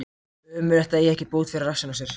Ömurlegt að eiga ekki bót fyrir rassinn á sér.